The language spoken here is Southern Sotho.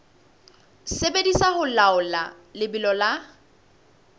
sebediswa ho laola lebelo la